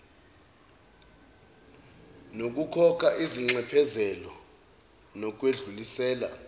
nokukhokha izinxephezelo nokwedlulisela